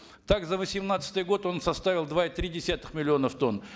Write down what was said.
так за восемнадцатый год он составил два и три десятых миллионов тонн